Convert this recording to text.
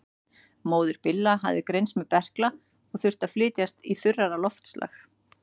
Móðir Billa hafði greinst með berkla og þurfti að flytjast í þurrara loftslag.